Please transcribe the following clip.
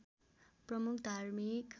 प्रमुख धार्मिक